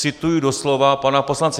Cituji doslova pana poslance.